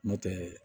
N'o tɛ